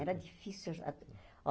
Era difícil. aj ah ó